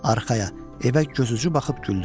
Arxaya, evə gözucu baxıb güldü.